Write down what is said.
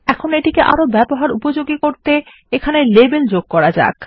এখন এটিকে আরো ব্যবহার উপযোগী করতে এখানে লাবেল যোগ করা যাক